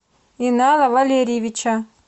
инала валерьевича